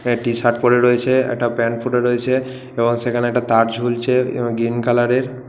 একটা টি-শার্ট পড়ে রয়েছে একটা প্যান্ট পরে রয়েছে এবং সেখানে একটা তার ঝুলছে এবং গ্রীন কালার -এর--